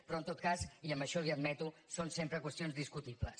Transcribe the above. però en tot cas i això li ho admeto són sempre qüestions discutibles